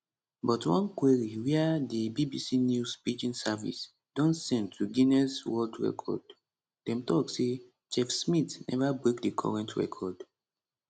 but one query wia di bbc news pidgin service don send to guinness world record dem tok say chef smith neva break di current record